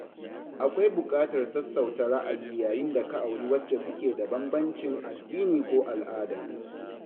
Akwai buƙatar sassauta ra'ayi yayin da ka auri wacce kuke da bambancin addini ko al'ada.